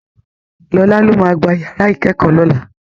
Lọlá ló máa gbá yàrá ìkẹ́kọ̀ọ́ lọ́la.